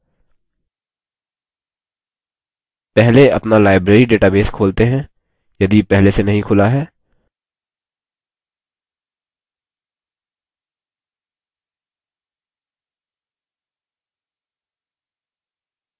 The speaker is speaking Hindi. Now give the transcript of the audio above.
पहले अपना library database खोलते हैं यदि पहले से नहीं खुला है